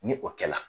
Ni o kɛla